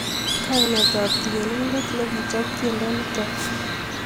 Kainetab tienindet nekichob tiendo nito